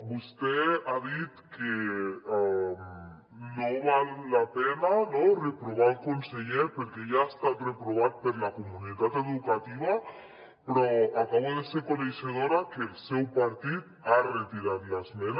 vostè ha dit que no val la pena no reprovar el conseller perquè ja ha estat reprovat per la comunitat educativa però acabo de ser coneixedora que el seu partit ha retirat l’esmena